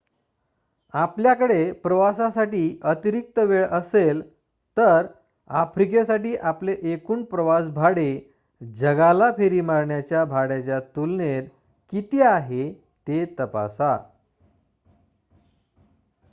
आपल्याकडे प्रवासासाठी अतिरिक्त वेळ असेल तर आफ्रिकेसाठी आपले एकूण प्रवास भाडे जगाला फेरी मारण्याच्या भाड्याच्या तुलनेत किती आहे ते तपासा